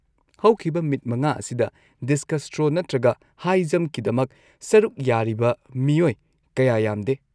ꯍꯧꯈꯤꯕ ꯃꯤꯠ ꯃꯉꯥ ꯑꯁꯤꯗ ꯗꯤꯁꯀꯁ ꯊ꯭ꯔꯣ ꯅꯠꯇ꯭ꯔꯒ ꯍꯥꯏ ꯖꯝꯞꯀꯤꯗꯃꯛ ꯁꯔꯨꯛ ꯌꯥꯔꯤꯕ ꯃꯤꯑꯣꯏ ꯀꯌꯥ ꯌꯥꯝꯗꯦ꯫